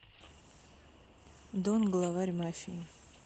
дон главарь мафии